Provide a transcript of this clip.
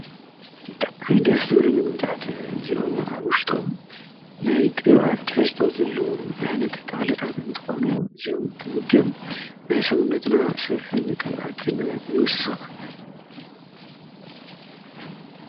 ብጥዓሚ ደስ ዝብሉ ምግብታት እዚኦም ኣውሽጦም ናይ ቕብኣት ሕስቶ ዘለዎም ኣይነት ተኽልታት እንተኾኑ እዚኦም ትምገብ ናይ ሰውነትና ስብሕን ቅብኣትን ይውስኽ።